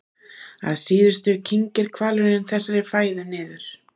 Að síðustu kyngir hvalurinn þessari fæðu niður.